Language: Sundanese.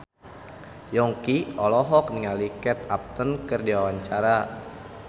Yongki olohok ningali Kate Upton keur diwawancara